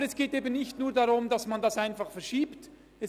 Aber es geht eben nicht nur darum, diesen einfach nur zu verschieben.